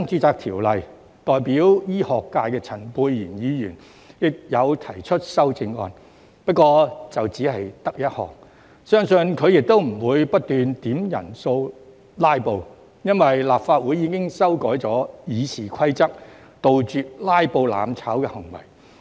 就《條例草案》代表醫學界的陳沛然議員提出一項修正案，相信他不會不斷點算人數"拉布"，因為立法會已經修改《議事規則》，杜絕"拉布"、"攬炒"行為。